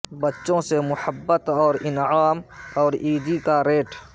بچوں سے محبت اور انعام اور عیدی کا ریٹ